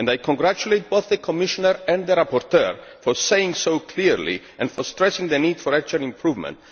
I congratulate both the Commissioner and the rapporteur for speaking so clearly and for stressing the need for actual improvement.